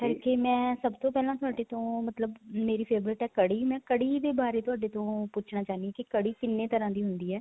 ਕਰਕੇ ਮੈਂ ਸਭ ਤੋਂ ਪਹਿਲਾਂ ਤੁਹਾਡੇ ਤੋਂ ਮਤਲਬ ਮੇਰੀ favorite ਹੈ ਕੜੀ ਮੈਂ ਕੜੀ ਦੇ ਬਾਰੇ ਹੀ ਤੁਹਾਡੇ ਤੋਂ ਪੁੱਛਣਾ ਚਾਹਣੀ ਹਾਂ ਕੀ ਕੜੀ ਕਿੰਨੇ ਤਰ੍ਹਾਂ ਦੀ ਹੁੰਦੀ ਏ